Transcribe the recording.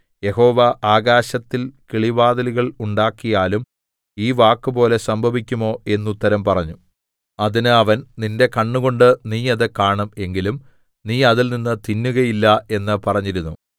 യഹോവ ആകാശത്തിൽ കിളിവാതിലുകൾ ഉണ്ടാക്കിയാലും ഈ വാക്കുപോലെ സംഭവിക്കുമോ എന്നുത്തരം പറഞ്ഞു അതിന് അവൻ നിന്റെ കണ്ണുകൊണ്ട് നീ അത് കാണും എങ്കിലും നീ അതിൽനിന്ന് തിന്നുകയില്ല എന്ന് പറഞ്ഞിരുന്നു